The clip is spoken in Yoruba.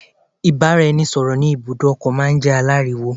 Ìbáraẹnisọ̀rọ̀ ní ibùdó ọkọ̀ máà ń jẹ́ aláriwo.